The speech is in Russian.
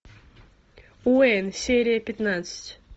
уэйн серия пятнадцать